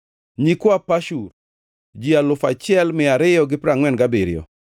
nyikwa Pashur, ji alufu achiel mia ariyo gi piero angʼwen gabiriyo (1,247),